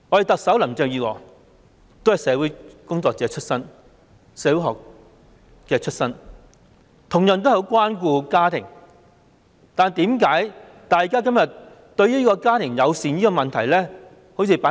特首林鄭月娥也是社會學出身，同樣很關顧家庭，但為甚麼對家庭友善問題置之不理？